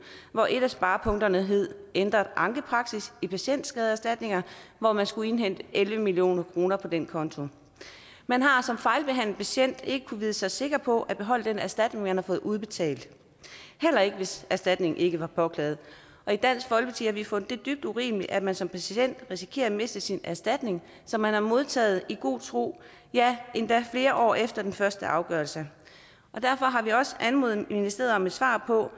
hvor et af sparepunkterne hed ændret ankepraksis i patientskadeerstatninger hvor man skulle indhente elleve million kroner på den konto man har som fejlbehandlet patient ikke kunnet vide sig sikker på at beholde den erstatning man har fået udbetalt heller ikke hvis erstatningen ikke var påklaget i dansk folkeparti har vi fundet det dybt urimeligt at man som patient risikerer at miste sin erstatning som man har modtaget i god tro ja endda flere år efter den første afgørelse derfor har vi også anmodet ministeriet om et svar på hvor